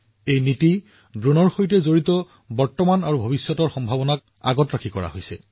আঁচনিখন ড্ৰোনৰ বৰ্তমান আৰু ভৱিষ্যতৰ সম্ভাৱনাৰ সৈতে খাপ খোৱাকৈ প্ৰস্তুত কৰা হৈছে